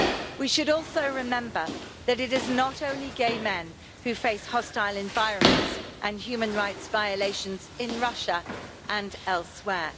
We should also remember that it is not only gay men who face hostile environments and human rights violations in Russia and elsewhere.